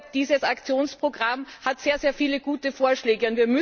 Dieses Aktionsprogramm enthält sehr viele gute Vorschläge.